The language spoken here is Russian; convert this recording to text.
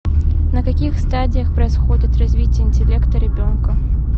на каких стадиях происходит развитие интеллекта ребенка